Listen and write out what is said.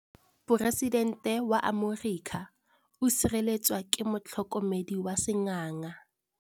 Poresitêntê wa Amerika o sireletswa ke motlhokomedi wa sengaga.